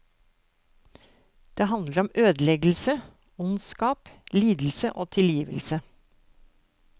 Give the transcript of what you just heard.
Det handler om ødeleggelse, ondskap, lidelse og tilgivelse.